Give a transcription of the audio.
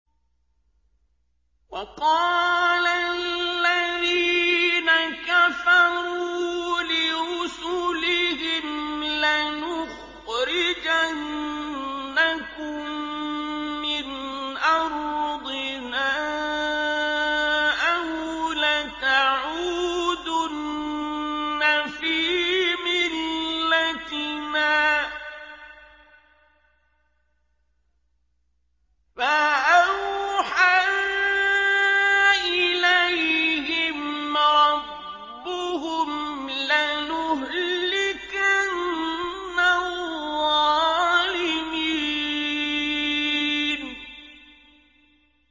وَقَالَ الَّذِينَ كَفَرُوا لِرُسُلِهِمْ لَنُخْرِجَنَّكُم مِّنْ أَرْضِنَا أَوْ لَتَعُودُنَّ فِي مِلَّتِنَا ۖ فَأَوْحَىٰ إِلَيْهِمْ رَبُّهُمْ لَنُهْلِكَنَّ الظَّالِمِينَ